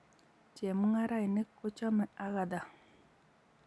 chemung'arainik ko chomei Agatha